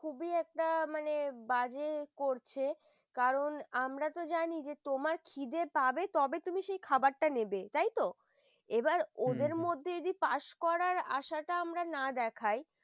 খুবই একটা মানে বাজে করছে কারণ আমরা তো জানি তোমার খিদে তবে তুমি সেই খাবারটা নেবে তাই তো? এবার ওদের মধ্যে হম পাশ করা আসাটা যদি না দেখায়